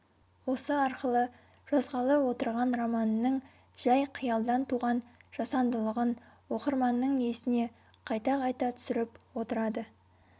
осы арқылы жазғалы отырған романының жай қиялдан туған жасандылығын оқырманның есіне қайта-қайта түсіріп отырады